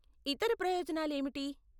ఇతర ప్రయోజనాలు ఏమిటి?